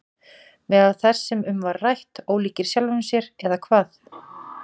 Meðal þess sem um var rætt: Ólíkir sjálfum sér eða hvað?